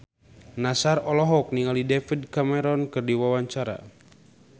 Nassar olohok ningali David Cameron keur diwawancara